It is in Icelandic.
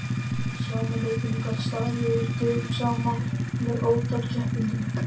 Sami leikurinn gat staðið yfir dögum saman með ótal keppendum.